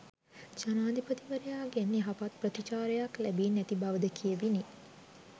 ජනාධිපතිවරයාගෙන් යහපත් ප්‍රතිචාරයක් ලැබී නැති බවද කියැවිණි